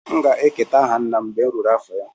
M ga-eketa aha nna m mgbe m ruru afọ ya